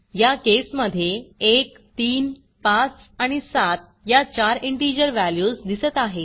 या केसमधे 1 3 5 आणि 7 या चार इंटिजर व्हॅल्यूज दिसत आहेत